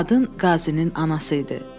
Qadın qazinin anası idi.